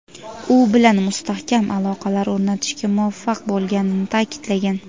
u bilan mustahkam aloqalar o‘rnatishga muvaffaq bo‘lganini ta’kidlagan.